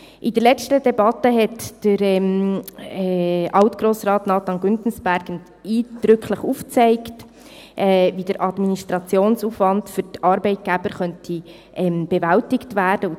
In der letzten Debatte hat Alt-Grossrat Nathan Güntensperger eindrücklich aufgezeigt, wie der administrative Aufwand für die Arbeitgeber bewältigt werden könnte.